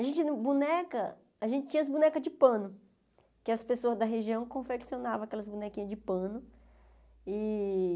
A gente não boneca a gente tinha as bonecas de pano, que as pessoas da região confeccionavam aquelas bonequinhas de pano e.